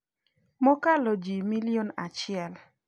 mokalo ji milion achiel